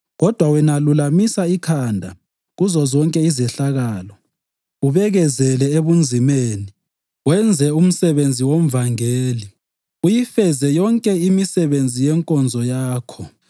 Kodwa wena lulamisa ikhanda kuzozonke izehlakalo, ubekezele ebunzimeni, wenze umsebenzi womvangeli, uyifeze yonke imisebenzi yenkonzo yakho.